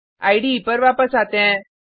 इडे पर वापस आते हैं